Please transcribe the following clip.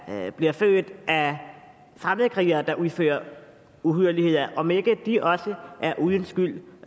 bliver født af fremmedkrigere der udfører uhyrligheder om ikke de også er uden skyld